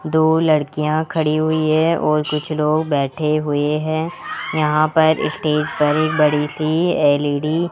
दो लड़कियां खड़ी हुई है और कुछ लोग बैठे हुए हैं यहां पर स्टेज पर एक बड़ी सी एल_इ_डी --